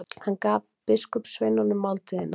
Hann gaf biskupssveinunum máltíðina.